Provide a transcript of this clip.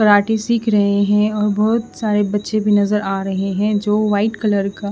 मराठी सीख रहे हैं और बहोत सारे बच्चे भी नजर आ रहे है जो व्हाइट कलर का--